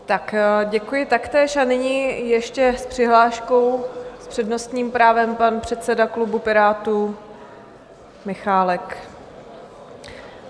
Tak děkuji taktéž a nyní ještě s přihláškou s přednostním právem pan předseda klubu Pirátů Michálek.